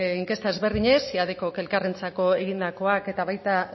inkesta ezberdinek siadecok elkarrentzako egindakoak eta baita